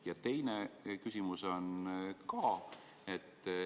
Ja teine küsimus on ka.